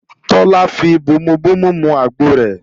Tọ́lá fi bomubomu mọ àgbọ rẹ̀